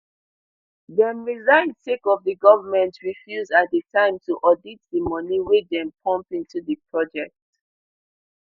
dem resign sake of di goment refuse at di time to audit di moni wey dem pump into di project